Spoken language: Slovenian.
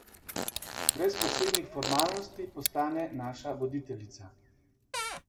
Brez posebnih formalnosti postane naša voditeljica.